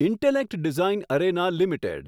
intellect design arena limited